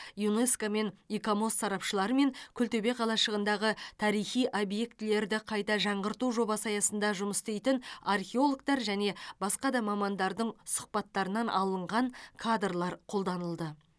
юнеско мен икомос сарапшылары мен күлтөбе қалашығындағы тарихи объектілерді қайта жаңғырту жобасы аясында жұмыс істейтін археологтар және басқа да мамандардың сұхбаттарынан алынған кадрлар қолданылды